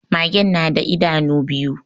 Magen na da idanu biyu